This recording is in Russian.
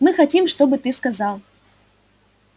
мы хотим чтобы ты сказал